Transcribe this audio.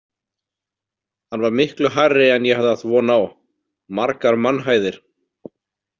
Hann var miklu hærri en ég hafði átt von á, margar mannhæðir.